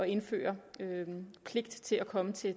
indføre pligt til at komme til